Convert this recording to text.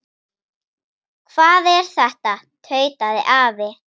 Hvað er þetta? tautaði afi.